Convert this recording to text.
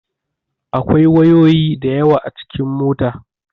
Akwai wayoyi da yawa a cikin mota.